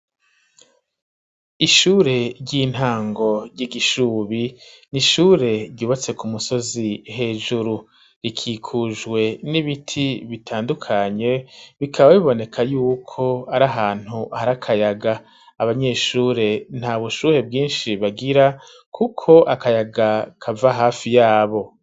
Ishure ry'intango ry'igishubi n'ishure ryubatse ku musozi hejuru, rikikujwe n'ibiti bitandukanye bikaba biboneka yuko ari ahantu hari akayaga abanyeshure nta bushuhe bwinshi bagira kuko akayaga kava hafi yabo.